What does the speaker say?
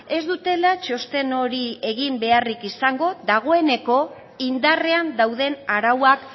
ez dutela txosten hori egin beharrik izango dagoeneko indarrean dauden arauak